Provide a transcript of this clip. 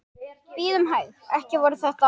Bíðum hæg. ekki voru þetta?